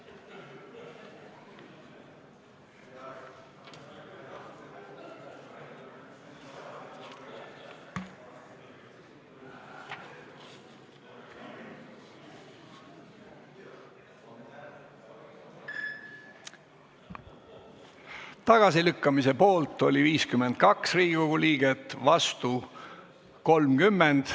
Hääletustulemused Tagasilükkamise poolt on 52 Riigikogu liiget, vastu 30.